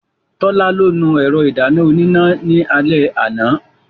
Tọ́lá ló nu ẹ̀rọ ìdáná oníná ní alẹ́ àná.